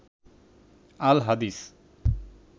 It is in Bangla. আল হাদিস